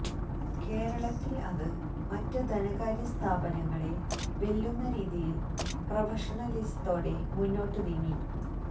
കേരളത്തില് അത് മറ്റ് ധനകാര്യ സ്ഥാപനങ്ങളെ വെല്ലുന്ന രീതിയില് പ്രൊഫഷണലിസത്തോടെ മുന്നോട്ട് നീങ്ങി